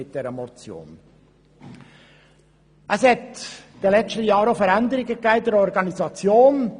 Es gab in den letzten Jahren auch Änderungen in der Organisation.